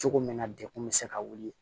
Cogo min na degun bɛ se ka wuli